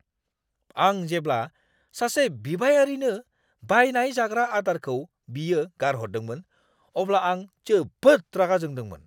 आं जेब्ला सासे बिबायारिनो बायनाय जाग्रा आदारखौ बियो गारहरदोंमोन, अब्ला आं जोबोद रागा जोंदोंमोन।